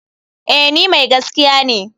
Eh ni mai gaskiya ne.